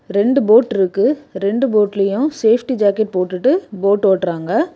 ரெண்டு போட்ருக்கு ரெண்டு போட்டலயு சேஃப்டி ஜாக்கெட் போட்டுட்டு போட் ஓட்றாங்க.